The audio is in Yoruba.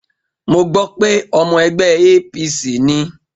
Mo gbọ́ pé ọmọ ẹgbẹ́ APC ni.